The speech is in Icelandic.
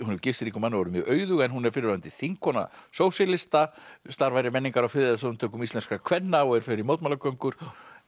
hefur gifst ríkum manni og er mjög auðug en hún er fyrrverandi þingkona sósíalista starfar í menningar og friðarsamtökum íslenskra kvenna og fer í mótmælagöngur